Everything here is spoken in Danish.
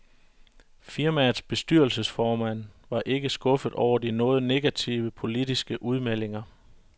Firmaets bestyrelsesformand var ikke skuffet over de noget negative, politiske udmeldinger.